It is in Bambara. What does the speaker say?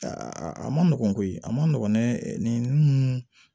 a ma nɔgɔn koyi a ma nɔgɔn dɛɛ nin